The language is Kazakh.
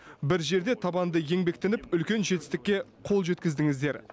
бір жерде табанды еңбектеніп үлкен жетістікке қол жеткіздіңіздер